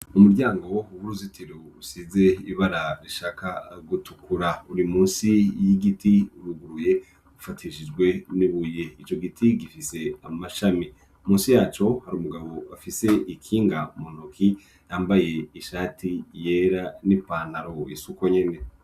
Umuryango w' uruzitiro rusize ibara rishaka gutukura ruri musi y'igiti uruguruye ufatishijwe n'ibuye, ico giti gifise amashami, musi yaco hari umugabo afise ikinga mu ntoki yambaye ishati yera n'ipantaro isa uko nyene.